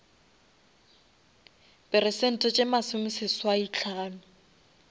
peresente tše masome seswai hlano